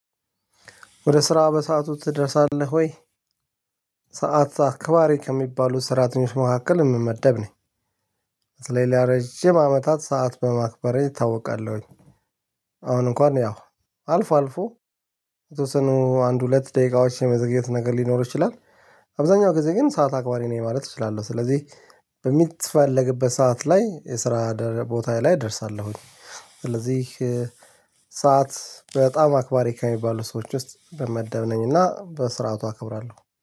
ወደ ስራ በሰአቱ ትደርሳለህ ወይ? ሰዓት አክባሪ ከሚባሉት ሰራተኞች መካከል የምመደብ ነኝ ስለዚህ ለረጅም አመታት ሰዓት በማክበሬ እታወቃለሁኝ። አሁን እንኳን ያው አልፎ አልፎ የተወሰኑ አንድ ሁለት ደቂቃዎች የመዘግየት ነገር ሊኖር ይችላል። አብዛኛው ጊዜ ግን ሰዓት አክባሪ ነኝ ማለት እችላለሁ ስለዚህ በሚትፈለግበት ሰዓት ላይ የስራ ቦታ ላይ እደርሳለሁኝ። ስለዚህ ሰዓት በጣም አክባሪ ከሚባሉ ሰዎች ውስጥ በመደብነኝ እና በስርዓቱ አክብራለሁ